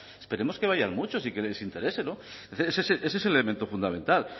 esperemos que vayan muchos y que les interese ese es el elemento fundamental